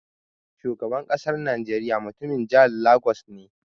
Shugaban ƙasar najeriya mutumin jihar Lagos ne.